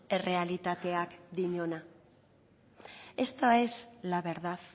errealitateak dioena esta es la verdad